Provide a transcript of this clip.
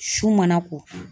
Su mana ko